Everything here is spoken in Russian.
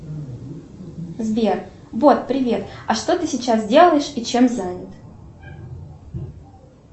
сбер бот привет а что ты сейчас делаешь и чем занят